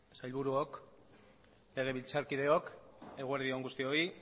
sailburuok legebiltzarkideok eguerdi on guztioi